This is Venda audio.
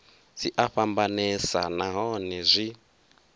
dzi a fhambanesa nahone zwi